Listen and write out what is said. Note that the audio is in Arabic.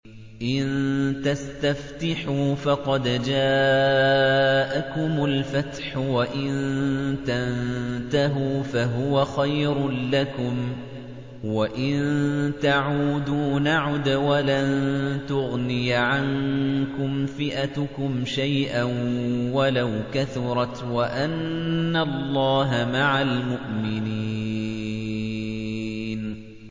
إِن تَسْتَفْتِحُوا فَقَدْ جَاءَكُمُ الْفَتْحُ ۖ وَإِن تَنتَهُوا فَهُوَ خَيْرٌ لَّكُمْ ۖ وَإِن تَعُودُوا نَعُدْ وَلَن تُغْنِيَ عَنكُمْ فِئَتُكُمْ شَيْئًا وَلَوْ كَثُرَتْ وَأَنَّ اللَّهَ مَعَ الْمُؤْمِنِينَ